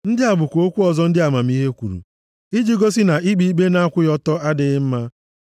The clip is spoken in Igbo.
Ndị a bụkwa okwu ọzọ ndị amamihe kwuru, iji gosi na ikpe ikpe na-akwụghị ọtọ adịghị mma.